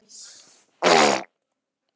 Sambúðin hefur gengið að mestu áfallalaust.